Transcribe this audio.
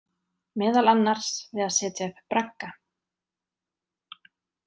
Meðal annars við að setja upp bragga.